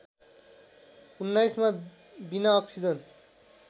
१९ मा बिना अक्सिजन